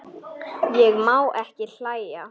Ég má ekki hlæja.